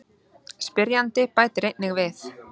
Spyrjandi bætir einnig við: